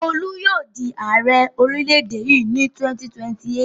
Olú yóò di Ààrẹ orílẹ̀-èdè yìí ní 2028.